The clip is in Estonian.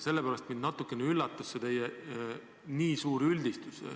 Sellepärast mind natuke üllatas see teie nii suur üldistus.